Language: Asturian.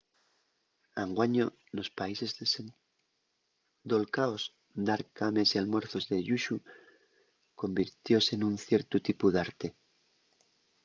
anguaño nos países desendolcaos dar cames y almuerzos de lluxu convirtióse nun ciertu tipu d’arte